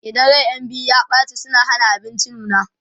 idan ran ƴan biyu ya ɓace suna Hana abinci nuna